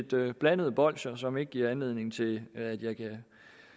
det lidt blandede bolsjer som ikke giver anledning til at jeg kan